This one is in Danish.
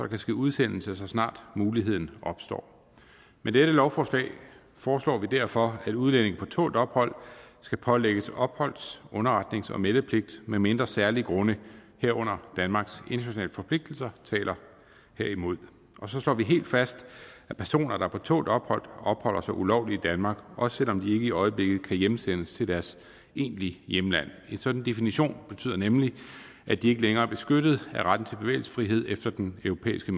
kan ske udsendelse så snart muligheden opstår med dette lovforslag foreslår vi derfor at udlændinge på tålt ophold skal pålægges opholds underretnings og meldepligt medmindre særlig grunde herunder danmarks internationale forpligtelser taler herimod og så slår vi helt fast at personer der er på tålt ophold opholder sig ulovligt i danmark også selv om de ikke i øjeblikket kan hjemsendes til deres egentlige hjemland en sådan definition betyder nemlig at de ikke længere er beskyttet af retten til bevægelsesfrihed efter den europæiske